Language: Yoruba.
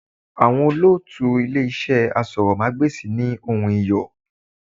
Àwọn olótùú Ilé iṣẹ́ asọ̀rọ̀mágbèsì ní ohùn Iyọ̀.